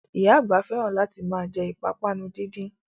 Oya àgbà fẹ́ràn láti ma jẹ́ ìpápánu díndín